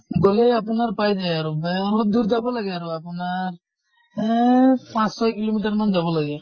গʼলে আপোনাৰ পাই যায় আৰু ৱে অলপ দূৰ যাব লাগে আৰু আপোনাৰ এহ পাছঁ ছয় kilo meter মান যাব লাগে।